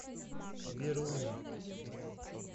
веруни